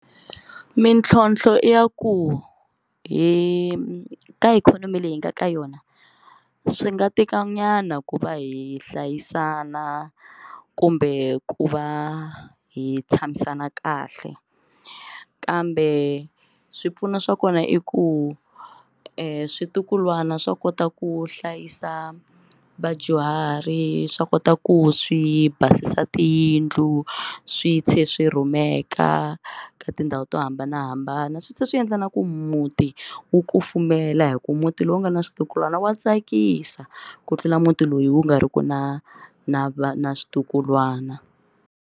Mintlhontlho i ya ku hi ka ikhonomi leyi hi nga ka yona swi nga tikanyana ku va hi hlayisana kumbe ku va hi tshamisana kahle kambe swipfuno swa kona i ku switukulwana swa kota ku hlayisa vadyuhari swa kota ku swi basisa tiyindlu swi tlhe swi rhumeka ka tindhawu to hambanahambana swi tlhela swi endla na ku muti wu kufumela hi ku muti lowu nga na switukulwana wa tsakisa ku tlula muti loyi wu nga ri ki na na na na switukulwana.